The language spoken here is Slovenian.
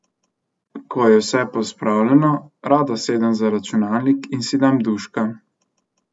Ko je vse pospravljeno, rada sedem za računalnik in si dam duška.